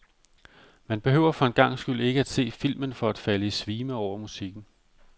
Man behøver for en gangs skyld ikke at se filmen for at falde i svime over musikken.